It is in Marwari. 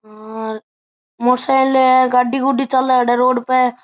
हेर मोटरसाइकिल है गाड़ी गुडी चाले अठे रोड पे।